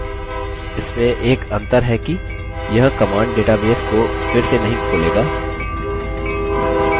इसमें एक अंतर है कि यह command database को फिर से नहीं खोलेगा